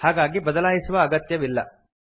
ಹಾಗಾಗಿ ಬದಲಾಯಿಸುವ ಅಗತ್ಯವಿಲ್ಲ